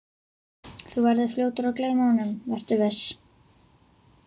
Þú verður fljótur að gleyma honum, vertu viss.